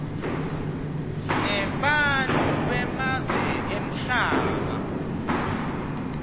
nebantfu bemave emhlaba